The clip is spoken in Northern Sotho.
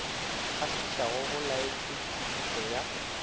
kgahlišago go laetšwe kwešišo ya